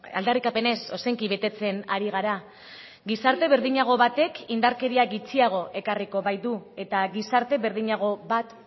aldarrikapenez ozenki betetzen ari gara gizarte berdinago batek indarkeria gutxiago ekarriko baitu eta gizarte berdinago bat